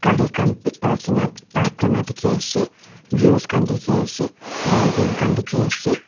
kari kan bi rakina park kurna teki ase views kan teki ase mountain kan teki ase.